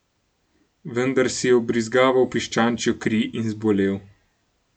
Vendar si je vbrizgaval piščančjo kri in zbolel.